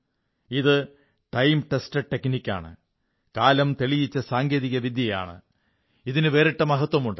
ഇത് time tested ടെക്നിക്കാണ് കാലം തെളിയിച്ച സാങ്കേതികവിദ്യയാണ് ഇതിന് വേറിട്ട മഹത്വമുണ്ട്